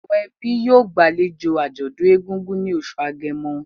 Àwọn ẹbí yóò gbàlejò àjọ̀dún egungun ní oṣù Agẹmọ